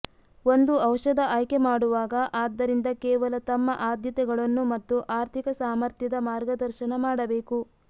ಒಂದು ಔಷಧ ಆಯ್ಕೆಮಾಡುವಾಗ ಆದ್ದರಿಂದ ಕೇವಲ ತಮ್ಮ ಆದ್ಯತೆಗಳನ್ನು ಮತ್ತು ಆರ್ಥಿಕ ಸಾಮರ್ಥ್ಯದ ಮಾರ್ಗದರ್ಶನ ಮಾಡಬೇಕು